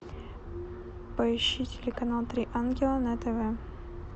поищи телеканал три ангела на тв